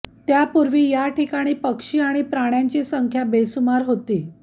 त्यापूर्वी याठिकाणी पक्षी आणि प्राण्यांची संख्या बेसुमार होती